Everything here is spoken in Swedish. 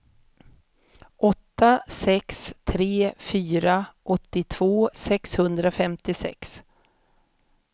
åtta sex tre fyra åttiotvå sexhundrafemtiosex